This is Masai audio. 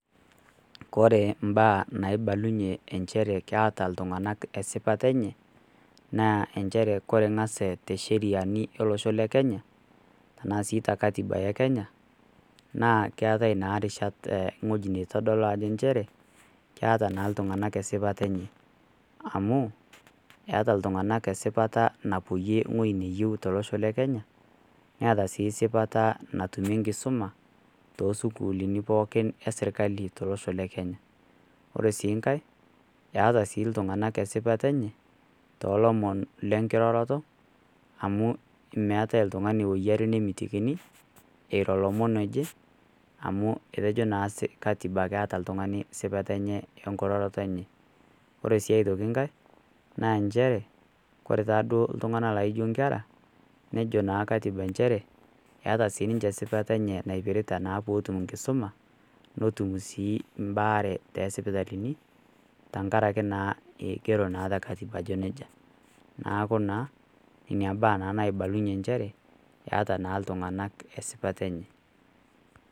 Kore imbaa inaibalunye inchere keata iltung'ana esipata enye, naa nchere Kore engas incheriani tolosho le Kenya anaa sii te Katiba e Kenya naa keatai naa irishat ewueji naitodolu nchere naa iltung'ana esipata enye amu, eata iltung'ana esipata nawuoyie ewueji nayieuta tolosho le Kenya, neata sii esipata natumie enkisuma, too isukulini pookin e sirkali tolosho le Kenya. Ore sii nkai, eata iltung'ana esipata enye, toolomon lenkiroroto amu meatai oltung'ani anare nemitikini eiro lomon oje, amu etejo naa Katiba ajo eata naa oltung'ani esipata enkororoto enye. Ore sii aitoki nkai, naa nchere Kore taa duo inkera, nejo naa Katiba nchere, eata naa sininche esipata naa enye pee epuo atum enkisuma, netum sii mbaare tosipitalini, tenkaraki naa eigero naa te Katiba ajo neija, neaku naa Ina mbaya naibalunye nchere eata iltung'ana esipata enye.